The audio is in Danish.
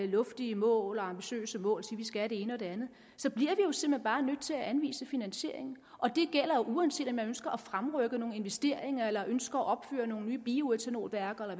luftige mål og ambitiøse mål og sige vi skal det ene og det andet jo simpelt bare nødt til at anvise finansiering det gælder uanset om man ønsker at fremrykke nogle investeringer eller ønsker at opføre nogle nye bioætanolværker eller